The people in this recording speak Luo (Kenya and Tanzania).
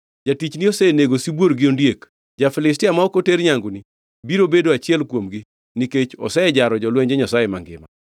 Jatichni osenego sibuor gi ondiek; ja-Filistia ma ok oter nyanguni, biro bedo achiel kuomgi nikech osejaro jolwenj Nyasaye mangima.